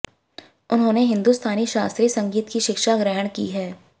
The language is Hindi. उन्होंने हिन्दुस्तानी शास्त्रीय संगीत की शिक्षा ग्रहण की है